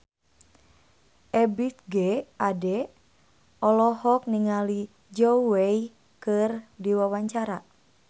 Ebith G. Ade olohok ningali Zhao Wei keur diwawancara